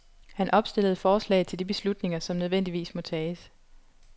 Han opstillede forslag til de beslutninger, som nødvendigvis må tages.